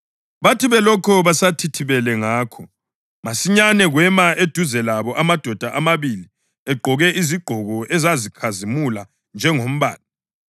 Bathi belokhu besathithibele ngakho, masinyane kwema eduze labo amadoda amabili egqoke izigqoko ezazikhazimula njengombane.